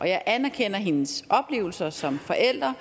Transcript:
jeg anerkender hendes oplevelser som forælder